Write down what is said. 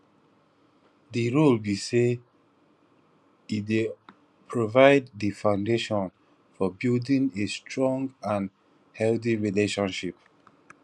di role be say e dey provide di foundation for building a strong and and healthy relationship